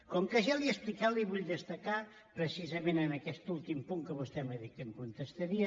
com que ja l’hi he explicat li vull destacar precisament en aquest últim punt que vostè m’ha dit que em contestaria